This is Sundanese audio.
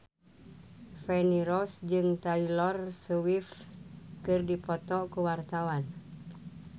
Feni Rose jeung Taylor Swift keur dipoto ku wartawan